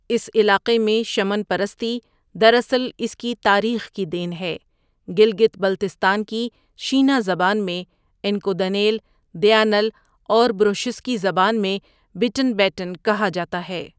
اس علاقے میں شمن پرستی دراصل اس کی تاریخ کی دین ہے گلگت بلتستان کی شینا زبان میں ان کو دنیَل دیاٗنل اور بروشسکی زبان میں بِٹن بیٹن کہا جاتا ہے۔